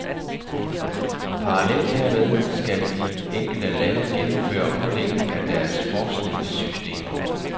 Parallelt hermed skal de enkelte lande gennemføre omlægning af deres forskningssystemer.